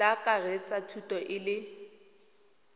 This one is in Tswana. tla akaretsa thuto e le